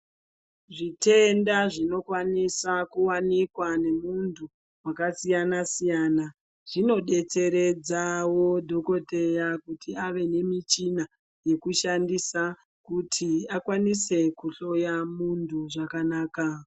Zvitenda zvinokwanisa kuwanikwa nemuntu wakasiyanasiyana zvinodetseredzawo dhokodheya kuti ave nemichina yekushandisa kuti akwanise kuhloya muntu zvakanaka.